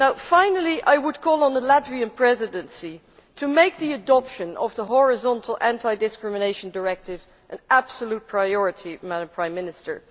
Finally, I would call on the Latvian Presidency to make the adoption of the horizontal Anti Discrimination Directive an absolute priority, Madam Prime Minister.